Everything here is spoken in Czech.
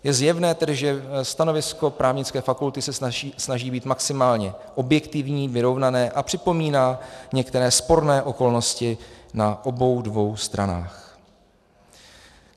- Je zjevné tedy, že stanovisko Právnické fakulty se snaží být maximálně objektivní, vyrovnané a připomíná některé sporné okolnosti na obou dvou stranách.